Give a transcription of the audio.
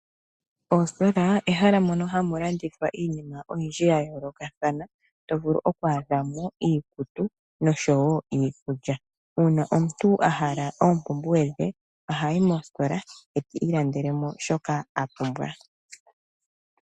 Ositola ehala mono hamu landithw aiinima oyindji ya yoolokathana, to vulu oku adha mo iikutu noshowo iikulya. Uuna omuntu a hala oompumbwe dhe ohayi mositola e ta ilandele mo shoka a pumbwa.